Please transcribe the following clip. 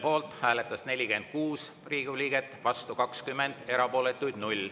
Poolt hääletas 46 Riigikogu liiget, vastu 20, erapooletuks jäi 0.